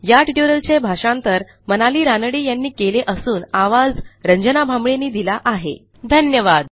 या ट्युटोरियलचे भाषांतर मनाली रानडे यांनी केले असून आवाज यांनी दिला आहेधन्यवाद